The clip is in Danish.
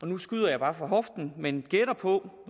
nu skyder jeg bare fra hoften men jeg gætter på